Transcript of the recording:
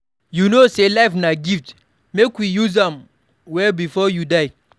You know sey life na gift, make we use am well before you die.